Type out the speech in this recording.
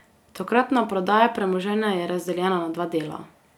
Tokratna prodaja premoženja je razdeljena na dva dela.